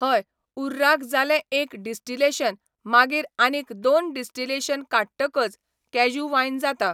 हय उर्राक जालें एक डिस्टिलेशन मागीर आनीक दोन डिस्टिलेशन काडटकच कॅज्यू वायन जाता.